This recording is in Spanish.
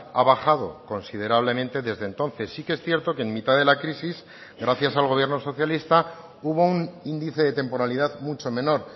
ha bajado considerablemente desde entonces sí que es cierto que en mitad de la crisis gracias al gobierno socialista hubo un índice de temporalidad mucho menor